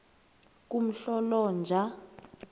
kumhlolonja